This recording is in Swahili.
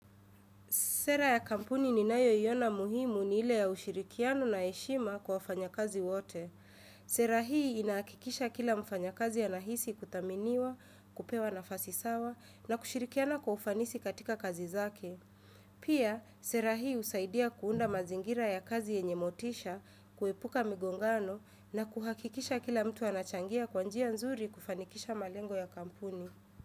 Sera ya kampuni ninayoiona muhimu ni ile ya ushirikiano na heshima kwa wafanya kazi wote. Sera hii inahakikisha kila mfanyakazi anahisi kuthaminiwa, kupewa nafasi sawa na kushirikiana kwa ufanisi katika kazi zake. Pia, sera hii husaidia kuunda mazingira ya kazi yenye motisha, kuepuka migongano na kuhakikisha kila mtu anachangia kwa njia nzuri kufanikisha malengo ya kampuni.